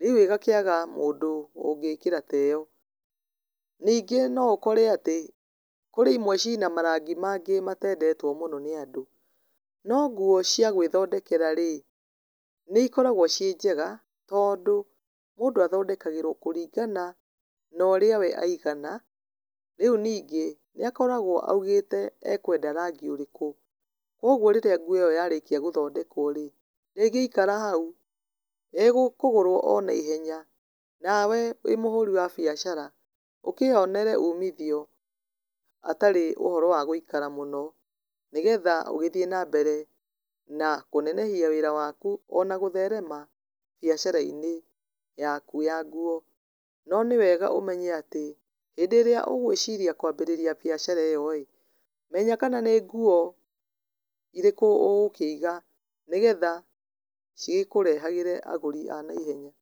rĩu ĩgakĩaga mũndũ ũngĩkĩra ta ĩyo. Ningĩ no ũkore atĩ kũrĩ imwe cina marangi matendetwo mũno nĩ andũ. No nguo cia gwĩthondekera rĩ nĩ ikoragwo ciĩ njega tondũ mũndũ athondekagĩrwo kũringana na ũrĩa we aigana. Rĩu ningĩ nĩ akoragwo oigĩte ekwenda rangi ũrĩkũ, kwoguo rĩrĩa nguo ĩyo yarĩkia gũthondekwo rĩ, ndĩngĩikara hau ĩkũgũrwo naihenya. Nawe we mũhũri wa biacara ũkĩonere umithio hatarĩ ũhora wa gũikara mũno na nĩgetha ũgĩthiĩ na mbere kũnenehia wĩra waku ona gũtherema biacara-inĩ yaku ya nguo. No nĩ wega ũmenye atĩ hĩndĩ ĩrĩa ũgwiciria kwambĩrĩria biacara ĩyo ĩĩ, menya kana nĩ nguo irĩkũ ũgũkĩiga nĩgetha cigĩkũrehagĩre agũri a naihenya.